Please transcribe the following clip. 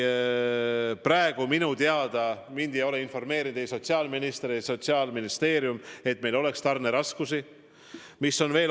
Praegu minu teada – mind ei ole sellest informeerinud ei sotsiaalminister ega Sotsiaalministeerium – meil tarneraskusi ei ole.